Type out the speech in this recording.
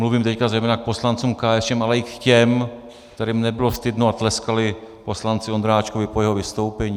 Mluvím teď zejména k poslancům KSČM, ale i k těm, kterým nebylo stydno a tleskali poslanci Ondráčkovi po jeho vystoupení.